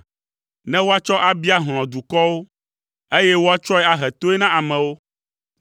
ne woatsɔ abia hlɔ̃ dukɔwo, eye woatsɔe ahe toe na amewo,